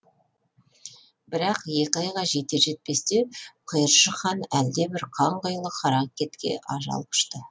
бірақ екі айға жетер жетпесте құйыршық хан әлдебір қанқұйлы қаракетке ажал құшты